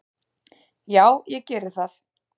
Já ég geri það.